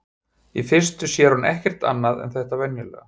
Í fyrstu sér hún ekkert annað en þetta venjulega.